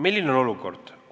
Milline on olukord?